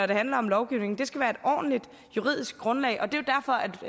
det handler om lovgivning det skal være et ordentligt juridisk grundlag og det